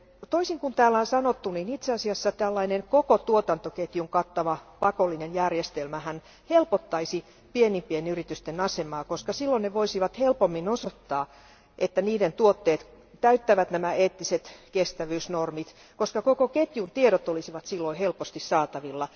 Toisin kuin täällä on sanottu, itse asiassa tällainen koko tuotantoketjun kattava pakollinen järjestelmähän helpottaisi pienempien yritysten asemaa, koska silloin ne voisivat helpommin osoittaa, että niiden tuotteet täyttävät nämä eettiset kestävyysnormit, koska koko ketjun tiedot olisivat silloin helposti saatavilla.